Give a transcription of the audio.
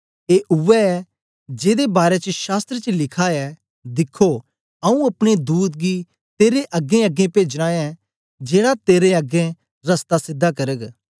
ए उवै ऐ जेदे बारै च शास्त्र च लिखा ऐ दिखखो आऊँ अपने दूत गी तेरे अगेंअगें पेजना ऐ जेड़ा तेरे अगें रस्ता सीधा करग